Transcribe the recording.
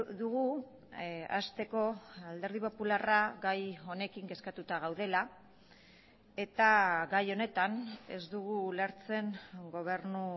dugu hasteko alderdi popularra gai honekin kezkatuta gaudela eta gai honetan ez dugu ulertzen gobernu